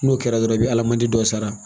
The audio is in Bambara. N'o kɛra dɔrɔn i bɛ alimanti dɔ sara